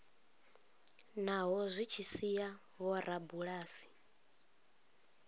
naho zwi tshi sia vhorabulasi